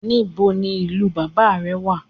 Níbo ní ìlú bàbá rẹ̀